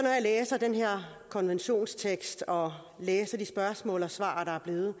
læser den her konventionstekst og læser de spørgsmål og svar der er blevet